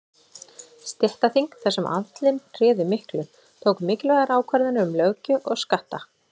Stéttaþing, þar sem aðallinn réði miklu, tóku mikilvægar ákvarðanir um löggjöf og skatta.